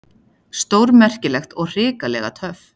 Stórmerkilegt og hrikalega töff.